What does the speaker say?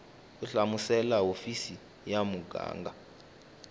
u hlamusela hofisi ya muganga